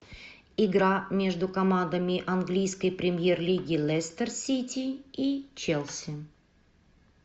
игра между командами английской премьер лиги лестер сити и челси